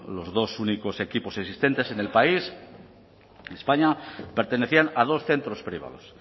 los dos únicos equipos existentes en el país en españa pertenecían a dos centros privados